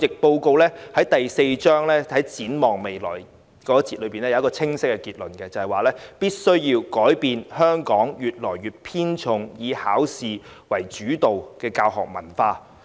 報告第四章題為"展望未來"，當中有清晰結論，認為必須改變香港偏重"考試主導"的文化。